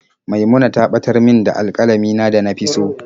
Maimuna ta batar min da alƙalamin na da na fi so.